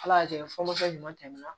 Ala y'a kɛ fɔlɔ fɛn ɲuman tɛmɛna